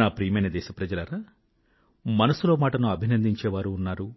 నా ప్రియమైన దేశ ప్రజలారా మనసులో మాట ను అభినందించే వారూ ఉన్నారు